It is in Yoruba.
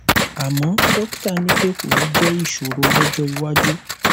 àmọ dọkítà ní pé kò ní jẹ ìṣòro lọjọ iwájú